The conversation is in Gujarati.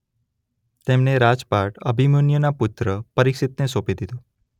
તેમને રાજપાટ અભિમન્યૂના પુત્ર પરીક્ષિતને સોંપી દીધું.